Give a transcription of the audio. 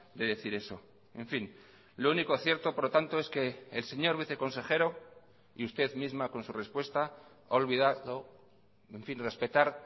de decir eso en fin lo único cierto por lo tanto es que el señor viceconsejero y usted misma con su respuesta ha olvidado en fin respetar